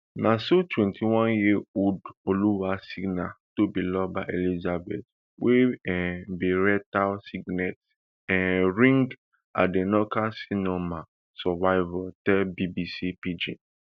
na so twenty-oneyearold oluwasina tobiloba elizabeth wey um be rectal signet um ring adenocarcinoma survivor tell bbc pidgin